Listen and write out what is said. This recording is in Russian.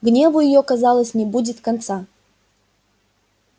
гневу её казалось не будет конца